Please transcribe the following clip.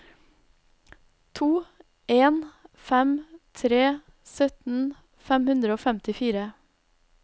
to en fem tre sytten fem hundre og femtifire